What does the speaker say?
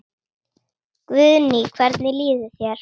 Guðný: Hvernig líður þér?